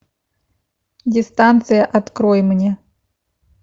дистанция открой мне